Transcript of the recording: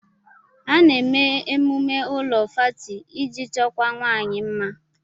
A na eme emume ụlọ fáátị iji chọkwụó nwanyi mma